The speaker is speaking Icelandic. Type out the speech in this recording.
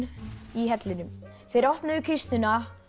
í hellinum þeir opnuðu kistuna